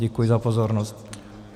Děkuji za pozornost.